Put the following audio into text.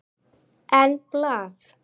En blað?